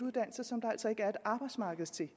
arbejdsmarked til